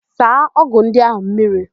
Saa ọ́gụ̀ ndị áhụ̀ mmiri!